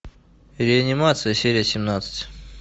реанимация серия семнадцать